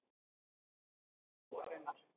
Í krafti trúarinnar